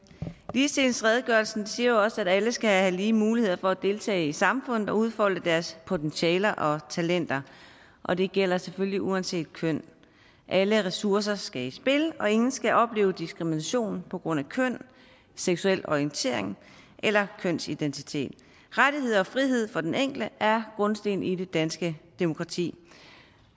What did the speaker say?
ligestillingsredegørelsen siger jo også at alle skal have lige muligheder for at deltage i samfundet og udfolde deres potentialer og talenter og det gælder selvfølgelig uanset køn alle ressourcer skal i spil og ingen skal opleve diskrimination på grund af køn seksuel orientering eller kønsidentitet rettigheder og frihed for den enkelte er grundsten i det danske demokrati